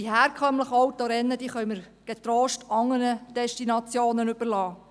Die herkömmlichen Autorennen können wir getrost anderen Destinationen überlassen.